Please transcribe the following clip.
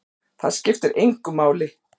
Það skiptir engu máli!